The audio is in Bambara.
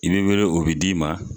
I be wele o bi d'i ma